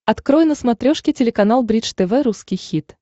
открой на смотрешке телеканал бридж тв русский хит